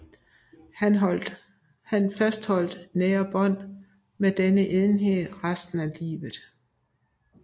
Han fastholdt nære bånd med denne enhed i resten af livet